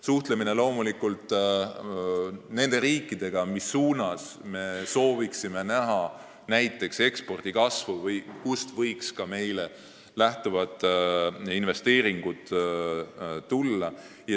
Suhtlust arendatakse loomulikult nende riikidega, kuhu me sooviksime rohkem eksportida või kust võiks tulla meile investeeringuid.